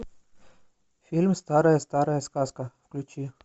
фильм старая старая сказка включи